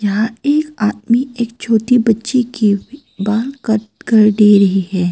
यहां एक आदमी एक छोटी बच्ची के बाल कट कर दे रही है।